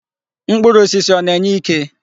Mkpụrụ osisi ọ na-enye ike?